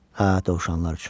hə, dovşanlar üçün.